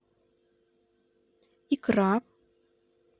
икра